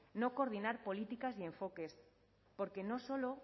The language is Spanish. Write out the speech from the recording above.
no coordinar políticas y enfoques porque no solo